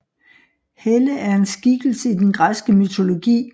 Helle er en skikkelse i den græske mytologi